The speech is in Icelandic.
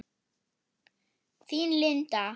Þín Linda.